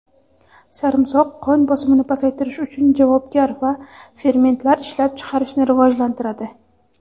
sarimsoq qon bosimini pasaytirish uchun javobgar va fermentlar ishlab chiqarishni rivojlantiradi.